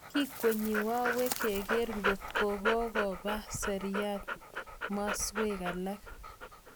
kikwenyi gawek kero ngotkogogopa seriat masweg alak